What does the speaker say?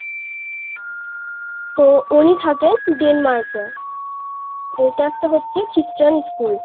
তো উনি থাকে Denmark এ এটা একটা হচ্ছে খ্রিস্টান স্কুল